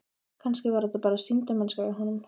Kannski var þetta bara sýndarmennska í honum.